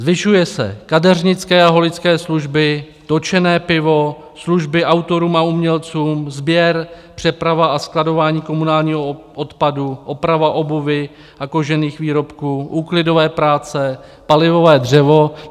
Zvyšují se kadeřnické a holické služby, točené pivo, služby autorům a umělcům, sběr, přeprava a skladování komunálního odpadu, oprava obuvi a kožených výrobků, úklidové práce, palivové dřevo.